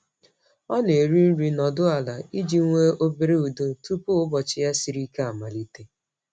Ọ na-eri nri nọdụ ala iji nwee obere udo tupu ụbọchị ya siri ike amalite.